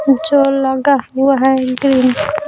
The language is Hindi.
जो लगा हुआ है इंग्रेम --